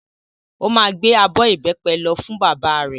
Ó máa gbé abọ́ ìbẹ́pẹ lọ fún bàbá rẹ̀.